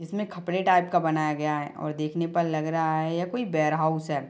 इसमें खपड़े टाइप का बनाया गया है और देखने पे लग रहा है ये कोई वेयरहाउस है।